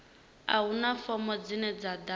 a huna fomo dzine dza ḓadzwa